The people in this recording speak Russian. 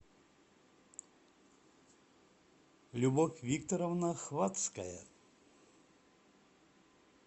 любовь викторовна хвацкая